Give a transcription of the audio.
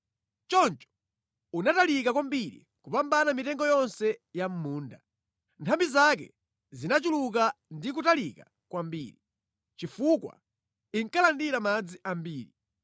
Choncho unatalika kwambiri kupambana mitengo yonse ya mʼmunda. Nthambi zake zinachuluka ndi kutalika kwambiri, chifukwa inkalandira madzi ambiri.